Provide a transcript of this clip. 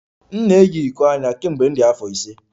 M na-eyi iko anya kemgbe m dị afọ ise